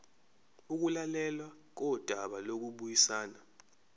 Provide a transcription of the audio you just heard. ukulalelwa kodaba lokubuyisana